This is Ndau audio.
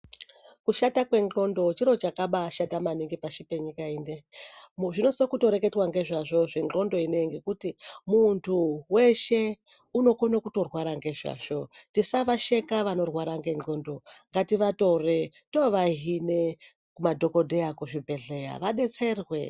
Kushata kwendxondo chiro chakabaashata maningi pashi penyika ineyi. Zvinosise kutoreketwa ngezvazvo zvendxondo ineyi, ngokuti muntu weshe unokone kutorwara ngezvazvo. Tisavasheka vanorwara ngendxondo. Ngativatore tovahine kumadhokodheya kuzvibhedhleya vadetserwe.